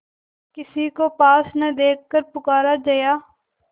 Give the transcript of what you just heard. किसी को पास न देखकर पुकारा जया